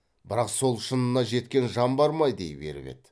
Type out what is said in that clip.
бірақ сол шынына жеткен жан бар ма дей беріп еді